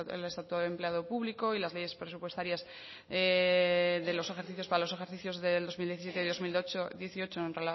el estatuto del empleado público y las de presupuestarias para los ejercicios del dos mil diecisiete y dos mil dieciocho en